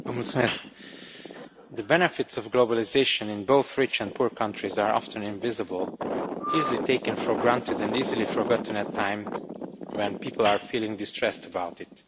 Mr President, the benefits of globalisation in both rich and poor countries are often invisible, easily taken for granted and easily forgotten in times when people are feeling distressed about it.